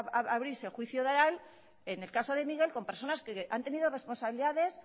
a abrirse el juicio oral en el caso de miguel con personas que han tenido responsabilidades